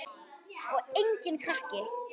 Og enginn krakki!